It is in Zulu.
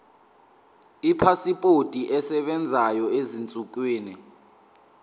ipasipoti esebenzayo ezinsukwini